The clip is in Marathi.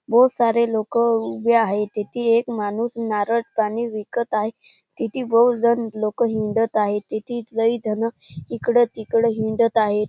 बहोत सारे लोक उभे आहे तेथी एक माणूस नारळ पाणी विकत आहे तेथी बहोतजन लोकं हिंडत आहे तेथी लई जण इकड तिकड हिंडत आहे.